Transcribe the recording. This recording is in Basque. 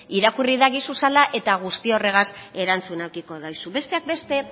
irakurri dagizuzala eta guztiz horregaz erantzun edukiko duzu besteak beste